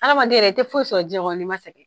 Adamaden yɛrɛ, i tɛ foyi sɔrɔ diɲɛn kɔnɔ n'i ma sɛngɛn.